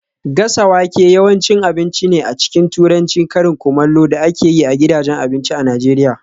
Gasa wake yawanci cin abinci ne a cikin Turancin karin kumallo da ake yi a gidajen abinci a Najeriya